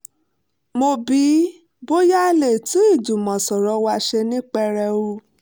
mo bi í bóyá a lè tún ìjùmọ̀sọ̀rọ̀ wa ṣe ní pẹrẹu